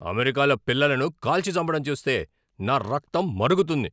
అమెరికాలో పిల్లలను కాల్చి చంపడం చూస్తే నా రక్తం మరుగుతుంది.